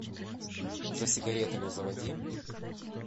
за сигаретами заводи